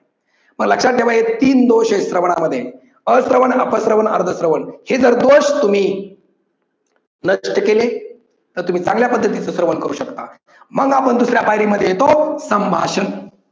तर लक्षात ठेवा हे तीन दोष आहेत श्रवणा मध्ये, अश्रवन, अप श्रवण, अर्ध श्रवण. हे जर दोष तुम्ही नष्ट केले तर तुम्ही चांगल्या पद्धतीच श्रवण करू शकता. मग आपण दुसऱ्या पायरी मध्ये येतो संभाषण.